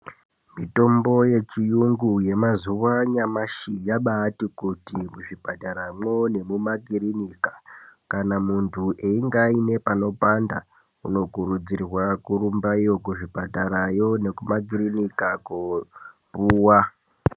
Mitombo yechiyungu yemazuwa anyamashi yabati kuti muzvipatarayo nemumakirinika kana mundu ayinge ane panopanda unokuridzirwa kurumbayo muzvipataramwo nemumakirinika kopuwa.